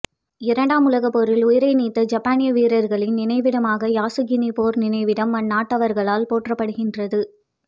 இரண்டாம் உலகப்போரில் உயிரை நீத்த ஜப்பானிய வீரர்களின் நினைவிடமாகப் யாசுகினி போர் நினைவிடம் அந்நாட்டவர்களால் போற்றப்படுகின்றது